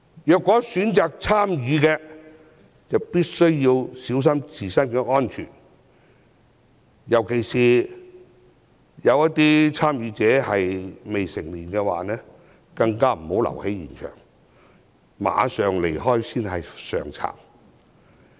如果選擇參與，必須小心自身安全，尤其是未成年的參與者，更不應在現場逗留，立即離開才是上策。